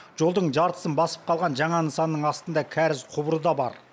жолдың жартысын басып қалған жаңа нысанның астында кәріз құбыры да бар